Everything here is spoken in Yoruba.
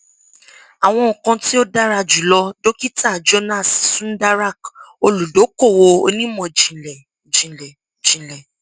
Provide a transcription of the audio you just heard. awọn nkan ti o dara julọ dokita jonas sundarak oludokowo onimọjinlẹ jinlẹ jinlẹ